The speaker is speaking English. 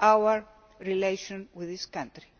our relations with this country.